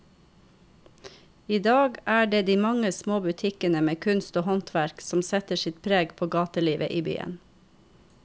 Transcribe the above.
I dag er det de mange små butikkene med kunst og håndverk som setter sitt preg på gatelivet i byen.